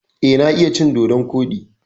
Eh, na iya cin dodon koɗi.